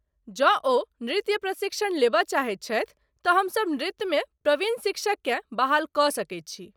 जौं ओ नृत्य प्रशिक्षण लेबय चाहैत छथि तँ हमसभ नृत्यमे प्रवीण शिक्षककेँ बहाल कऽ सकैत छी।